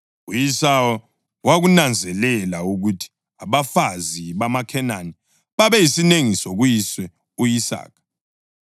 U-Esawu wakunanzelela ukuthi abafazi bamaKhenani babeyisinengiso kuyise u-Isaka;